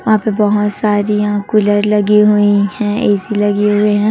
यहां पे बहुत सारी यहां कूलर लगी हुई हैं ए_सी लगे हुए हैं।